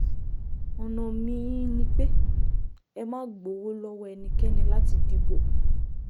ọ̀nà mí-ín ni pé ẹ má gbowó lọ́wọ́ ẹnikẹ́ni láti dìbò